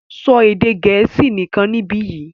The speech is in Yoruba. so Èdè Gẹ̀ẹ́sì nìkàn nibiyi!